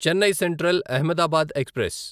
Chennai central Ahmedabad express